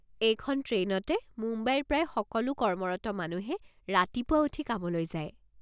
এইখন ট্ৰেইনতে মুম্বাইৰ প্ৰায় সকলো কৰ্মৰত মানুহে ৰাতিপুৱা উঠি কামলৈ যায়।